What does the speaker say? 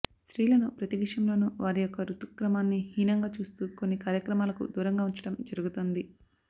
స్ర్తిలను ప్రతి విషయంలోనూ వారి యొక్క ఋతుక్రమాన్ని హీనంగా చూస్తూ కొన్ని కార్యక్రమాలకు దూరంగా ఉంచడం జరుగుతోంది